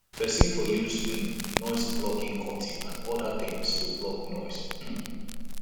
person for use um noise blocking curtain and oda things to block noise um